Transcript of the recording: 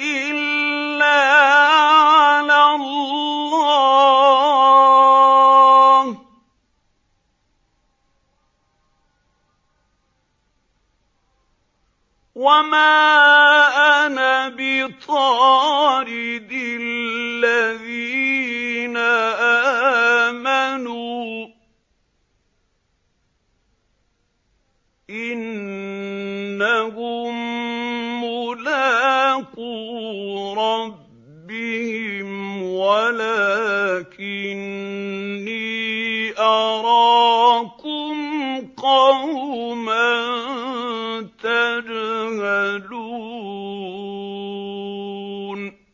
إِلَّا عَلَى اللَّهِ ۚ وَمَا أَنَا بِطَارِدِ الَّذِينَ آمَنُوا ۚ إِنَّهُم مُّلَاقُو رَبِّهِمْ وَلَٰكِنِّي أَرَاكُمْ قَوْمًا تَجْهَلُونَ